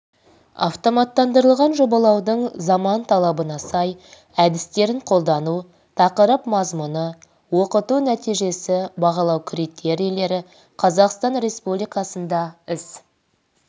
автоматтандырылған жобалаудың заман талабына сай әдістерін қолдану тақырып мазмұны оқыту нәтижесі бағалау критерийлері қазақстан республикасында іс